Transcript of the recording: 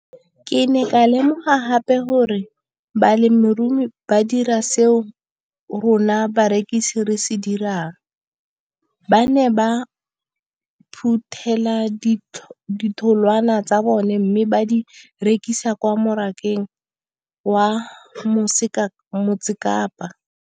Ke ne ka lemoga gape gore balemirui ba dira seo rona barekisi re se dirang, ba ne ba phuthela ditholwana tsa bona mme ba di rekisa kwa marakeng wa Motsekapa.